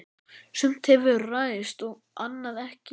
Sumt hefur ræst og annað ekki.